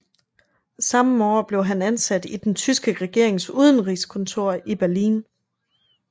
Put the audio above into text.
Samme år blev han ansat i den tyske regerings udenrigskontor i Berlin